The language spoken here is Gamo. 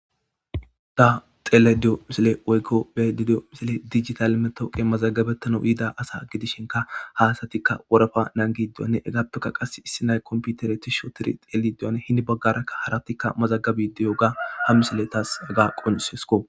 Ta xelediyo misile woykko bedidiyo misile dijital metooqe mazagabetana yiida asa gidishenka hasatikka worafa naangidiwanne egaptoka qas issi nay komputere tisho tiri xeldiwane hini baggarakka haratikka mazagabi diyo ga ham misiletaas gaa qoncesko.